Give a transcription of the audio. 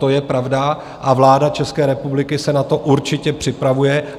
To je pravda a vláda České republiky se na to určitě připravuje.